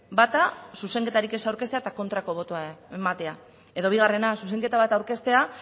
bata zuzenketarik ez aurkeztea eta kontrako botoa ematea edo bigarrena zuzenketa bat aurkeztea